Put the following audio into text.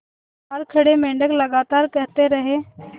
बाहर खड़े मेंढक लगातार कहते रहे